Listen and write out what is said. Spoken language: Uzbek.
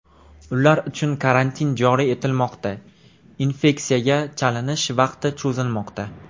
Ular uchun karantin joriy etilmoqda, infeksiyaga chalinish vaqti cho‘zilmoqda.